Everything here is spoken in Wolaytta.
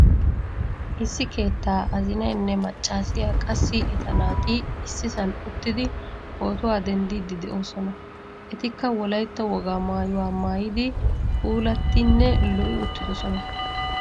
Issi keettaa azinaynne maccasiyaa qassi etta naati issisan uttidi pootuwaa denddidi de'osona. Ettika wolaytta wogaa maayuwaa maayidi puulattinne lo'i uttiidosona.